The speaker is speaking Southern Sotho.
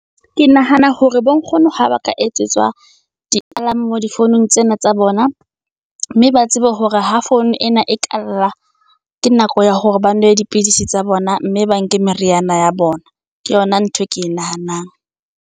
Ke nahana hore bo nkgono ha ba ka etsetswa di alarm mo difounung tsena tsa bona. Mme ba tsebe hore ho founu ena e kalla ke nako ya hore ba nwe dipidisi tsa bona. Mme ba nke meriana ya bona, ke yona ntho e ke e nahanang.